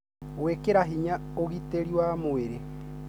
Gwĩkĩra hinya ũgitĩri wa mwĩrĩ: